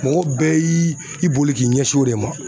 Mɔgɔ bɛɛ y'i i bolo k'i ɲɛsin o de ma